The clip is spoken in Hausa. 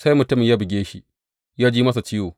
Sai mutumin ya buge shi, ya ji masa ciwo.